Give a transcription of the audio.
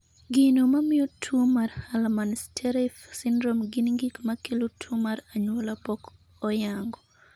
Gino mamiyo tuo mar Hallerman Streiff syndrome gin gik ma kelo tuo mar anyuola pok oyango.